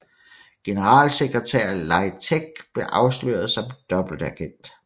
Generalsekretær Lai Tek blev afsløret som dobbeltagent